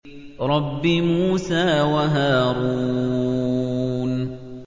رَبِّ مُوسَىٰ وَهَارُونَ